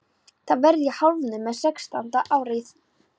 Þá verð ég hálfnuð með sextánda árið.